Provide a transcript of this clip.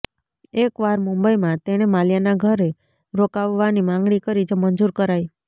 એક વાર મુંબઈમાં તેણે માલ્યાના ઘરે રોકાવવાની માંગણી કરી જે મંજૂર કરાઈ